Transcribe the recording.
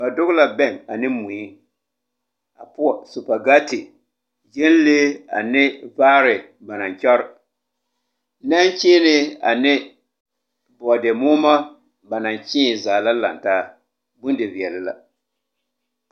Ba dɔge la bɛŋ ane mui a poɔ supagate, gyɛnlee ane vaare ba naŋ kyɔr. Nɛnkyeenee ane bɔɔdemoɔmo ba naŋ kyēē zaa la lantaa. Bondiveɛle la.